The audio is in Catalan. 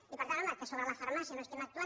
i per tant home que sobre la farmàcia no estem actuant